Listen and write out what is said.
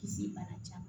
Kisi bana ca